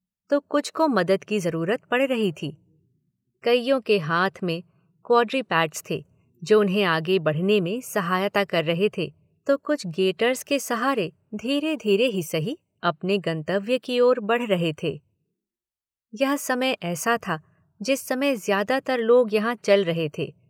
तो कुछ को मदद की ज़रूरत पड़ रही थी। कइयों के हाथ में क्वाड्रीपैड्स थे जो उन्हें आगे बढ़ने मे सहायता कर रहे थे तो कुछ गेटर्स के सहारे धीरे धीरे ही सही अपने गन्तव्य की ओर बढ़ रहे थे। यह समय ऐसा था जिस समय ज़्यादातर लोग यहाँ चल रहे थे।